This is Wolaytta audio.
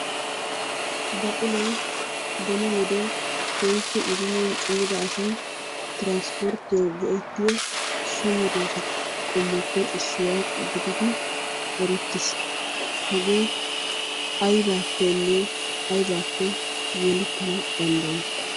Baquloy beni wode keehippe idimiyan cimida asay tiraanpporttiyawu go'ettiyo so medoosatu qommoppe issuwa gididi erettiis. Hagee aybaappenne aybaappe yelettana danddayi?